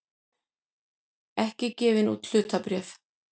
ekki gefin út hlutabréf.